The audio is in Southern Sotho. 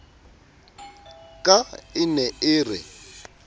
ka e ne e re